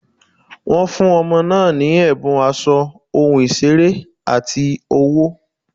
Wọ́n fún ọmọ náà ní ẹ̀bùn aṣọ, ohun ìṣeré, àti owó.